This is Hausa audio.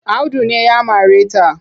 Audu ne ya mare ta.